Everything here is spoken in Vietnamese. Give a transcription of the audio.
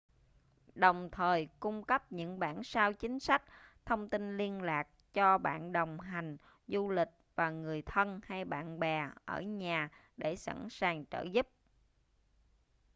đồng thời cung cấp những bản sao chính sách/thông tin liên lạc cho bạn đồng hành du lịch và người thân hay bạn bè ở nhà để sẵn sàng trợ giúp